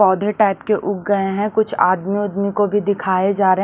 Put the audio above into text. पौधे टाइप के उग गए हैं कुछ आदमी-उदमी को भी दिखाए जा र--